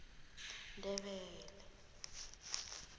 ndebele